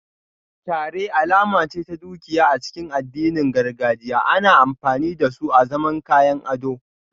Kyare alama ce ta dukiya a cikin addinin gargajiya, ana amfani da su azaman kayan ado